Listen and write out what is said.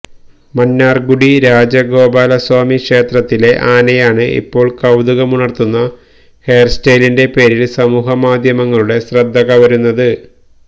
മന്നാർഗുഡി രാജഗോപാലസ്വാമി ക്ഷേത്രത്തിലെ ആനയാണ് ഇപ്പോൾ കൌതുകമുണർത്തുന്ന ഹെയർ സ്റ്റൈലിന്റെ പേരിൽ സമൂഹമാധ്യമങ്ങളുടെ ശ്രദ്ധ കവരുന്നത്